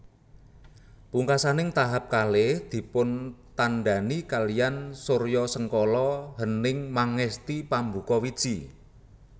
Pungkasaning tahap kalih dipuntandhani kaliyan suryasengkala Hening Mangesti Pambuka Wiji